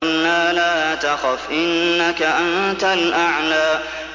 قُلْنَا لَا تَخَفْ إِنَّكَ أَنتَ الْأَعْلَىٰ